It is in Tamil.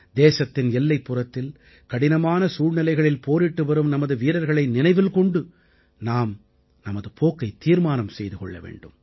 தேசத்தின் எல்லைப்புறத்தில் கடினமான சூழ்நிலைகளில் போரிட்டுவரும் நமது வீரர்களை நினைவில் கொண்டு நாம் நமது போக்கைத் தீர்மானம் செய்து கொள்ள வேண்டும்